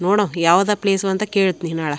ನೋಡೋಣ ಯಾವುದು ಪ್ಲೇಸ್ ಅಂತ ಕೇಳ್ತೀನಿ ನಾಳೆ.